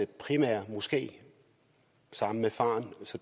primære moské sammen med faren så